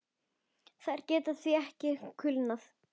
Þær geta því ekki kulnað.